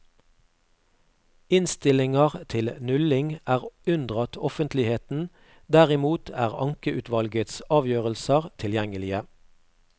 Innstillinger til nulling er unndratt offentligheten, derimot er ankeutvalgets avgjørelser tilgjengelige.